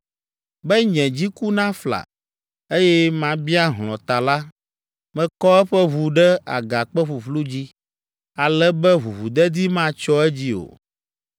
Be nye dziku nafla, eye mabia hlɔ̃ ta la, mekɔ eƒe ʋu ɖe agakpe ƒuƒlu dzi, ale be ʋuʋudedi matsyɔ edzi o.